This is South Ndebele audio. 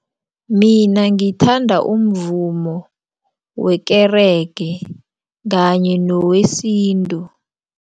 Mina ngithanda umvumo wekerege kanye newesintu.